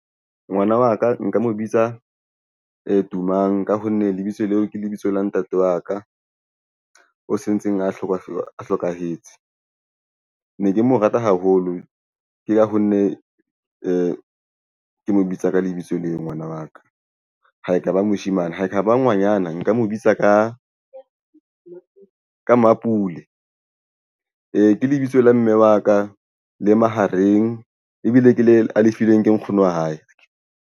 Ngwana wa ka nka mo bitsa Tumang ka ho nne lebitso leo ke lebitso la ntate wa ka o sentseng a hlokahetse. Ne ke mo rata haholo ke ka ho nne ke mo bitsa ka lebitso le ngwana wa ka ha ekaba moshemane. Ha ekaba ngwanyana nka mo bitsa ka Mapule. Ee, ke lebitso la mme wa ka le mahareng ebile ke le a lifilweng ke nkgono wa hae.